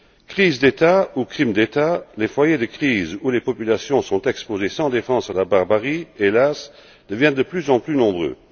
Crise d'État ou crime d'État, les foyers de crise où les populations sont exposées sans défense à la barbarie, hélas, deviennent de plus en plus nombreux.